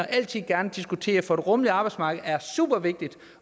altid gerne diskutere det for et rummeligt arbejdsmarked er supervigtigt